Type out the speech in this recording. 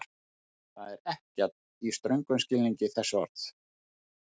Það er ekkert, í ströngum skilningi þess orðs.